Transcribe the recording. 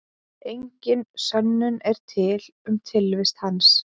Engin sönnun er til um tilvist hans.